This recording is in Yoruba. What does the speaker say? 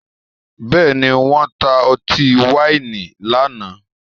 Bẹ́ẹ̀ni, wọ́n ta ọtí wáìnì lánàá?